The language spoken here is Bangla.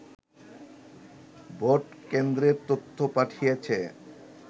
ভোটকেন্দ্রের তথ্য পাঠিয়েছে